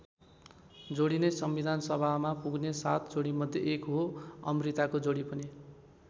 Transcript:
जोडी नै सम्विधानसभामा पुग्ने सात जोडीमध्ये एक हो अमृताको जोडी पनि।